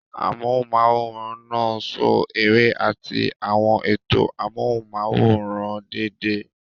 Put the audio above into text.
Amóhùnm'áwòrán náà ṣo eré àti àwọn ètò amóhùnm'áwòrán déédéé